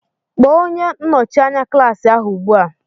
Kpọọ onye nnọchi anya klaasị ahụ ugbu a!